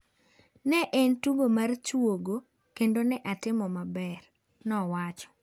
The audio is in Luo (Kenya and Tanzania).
Ne en tugo mar chuogo, kendo ne atimo maber," nowacho.